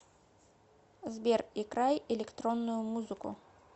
сбер играй электронную музыку